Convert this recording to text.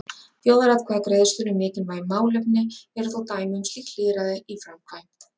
Þjóðaratkvæðagreiðslur um mikilvæg málefni eru þó dæmi um slíkt lýðræði í framkvæmd.